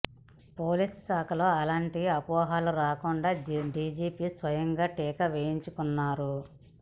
police శాఖలో అలాంటి అపోహలు రాకుండా డీజీపీ స్వయంగా టీకా వేయించుకున్నారు